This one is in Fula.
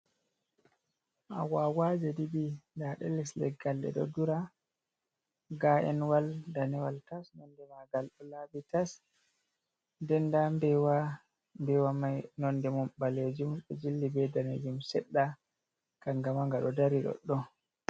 Agwagwaji ɗiɗi daɗe les leggal ɗe ɗo dura ga enwal danewal tas, nonde magal olabi tas, den nda nbewa mbewa mai nonde mum ɓalejum ɗo jilli be danejum seɗɗa kanga ma nga ɗo dari doɗɗon.